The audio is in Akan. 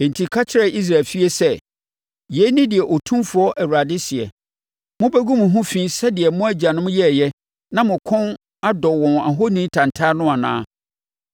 “Enti ka kyerɛ Israel efie sɛ: ‘Yei ne deɛ Otumfoɔ Awurade seɛ: Mobɛgu mo ho fi sɛdeɛ mo agyanom yɛeɛ na mo kɔn dɔ wɔn ahoni tantan no anaa?